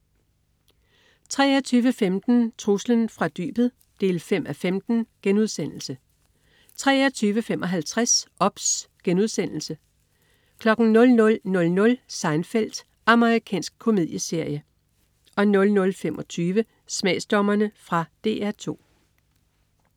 23.15 Truslen fra dybet 5:15* 23.55 OBS* 00.00 Seinfeld. Amerikansk komedieserie 00.25 Smagsdommerne. Fra DR 2